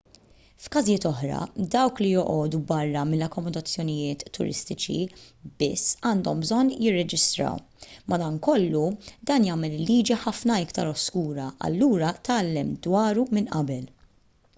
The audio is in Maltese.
f'każijiet oħra dawk li joqogħdu barra mill-akkomodazzjonijiet turistiċi biss għandhom bżonn jirreġistraw madankollu dan jagħmel il-liġi ħafna iktar oskura allura tgħallem dwaru minn qabel